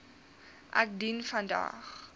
ek dien vandag